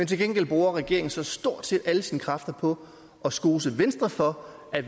til gengæld bruger regeringen så stort set alle sine kræfter på at skose venstre for at